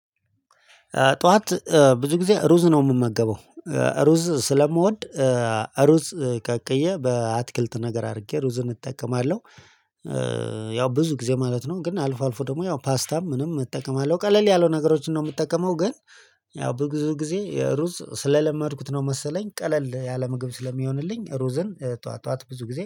ጧት ብዙ ጊዜ ሩዝ ነው የምመገበው። ሩዝ ስለምወድ ሩዝ ቀቅዬ በአትክልት ነገር አድርጌ ሩዝን እጠቀማለሁ። ያው ብዙ ጊዜ ማለት ነው ግን አልፎ አልፎ ደግሞ ያው ፓስታም ምንም እጠቀማለሁ ቀለል ያሉ ነገሮችን ነው የምጠቀመው። ግን ያው ብዙ ጊዜ ሩዝ ስለለመድኩት ነው መሰለኝ ቀለል ያለ ምግብ ስለሚሆንልኝ ሩዘን ጠዋት ጠዋት ብዙ ጊዜ